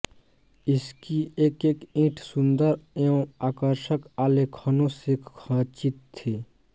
इसकी एकएक ईट सुंदर एवं आर्कषक आलेखनों से खचित थी